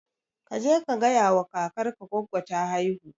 kaje ka gayawa kakar ka goggo ta haihu